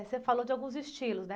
Você falou de alguns estilos, né?